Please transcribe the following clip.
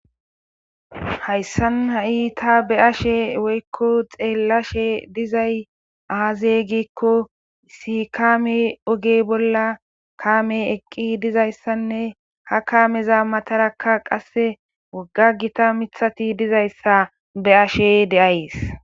Hayssan ha7i ta be7ashe woyllo xeellashe dizay aaze giikko sikkame oge bolla kaamey eqqi dizayssanne ha kaameza matarakka qasse wogga gita mithati dizayssa be7ashe de7ays.